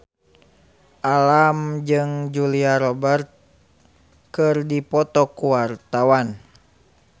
Alam jeung Julia Robert keur dipoto ku wartawan